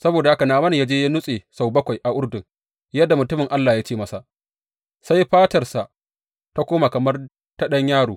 Saboda haka Na’aman ya je ya nutse sau bakwai a Urdun, yadda mutumin Allah ya ce masa, sai fatarsa ta koma kamar ta ɗan yaro.